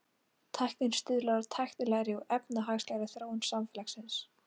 Tæknin stuðlar að tæknilegri og efnahagslegri þróun samfélagsins.